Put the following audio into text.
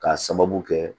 K'a sababu kɛ